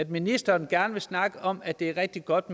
ministeren gerne vil snakke om at det er rigtig godt